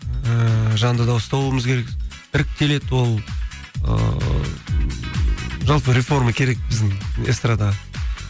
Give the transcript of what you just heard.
ііі жанды дауыста болуымыз керек іріктеледі ол ыыы жалпы реформа керек біздің эстардаға